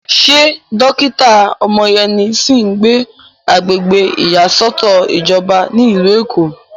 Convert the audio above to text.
Ṣé dókítà Omoyeni sì ń gbé agbègbè ìyàsọ́tọ̀ ìjọba ní ìlú Èkó?